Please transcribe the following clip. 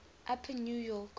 upper new york